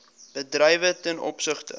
bedrywe ten opsigte